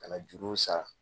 Ka na juruw sara